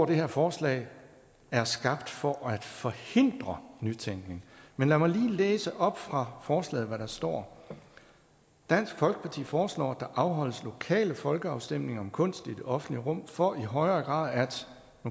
det her forslag er skabt for at forhindre nytænkning men lad mig lige læse op fra forslaget hvad der står dansk folkeparti foreslår at der afholdes lokale folkeafstemninger om kunst i det offentlige rum for i højere grad